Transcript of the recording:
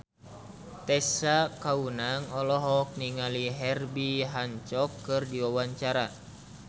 Tessa Kaunang olohok ningali Herbie Hancock keur diwawancara